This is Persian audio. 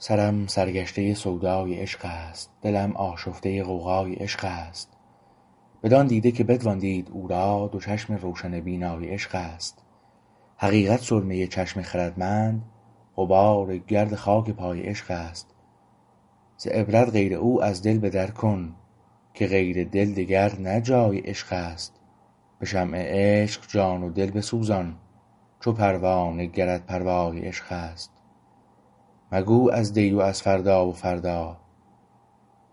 سرم سرگشته سودای عشق است دلم آشفته غوغای عشق است بدان دیده که بتوان دید او را دو چشم روشن بینای عشقست حقیقت سرمه چشم خردمند غبار گرد خاک پای عشقست ز عبرت غیر او از دل به در کن که غیر دل دگر نه جای عشقست به شمع عشق جان و دل بسوزان چو پروانه گرت پروای عشق است مگو از دی و از فردا و فردا